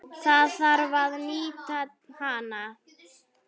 Það þarf að nýta hana.